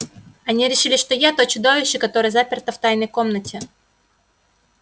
они решили что я то чудовище которое заперто в тайной комнате